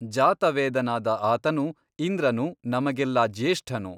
ಜಾತವೇದನಾದ ಆತನು ಇಂದ್ರನು ನಮಗೆಲ್ಲಾ ಜ್ಯೇಷ್ಠನು.